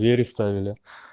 переставила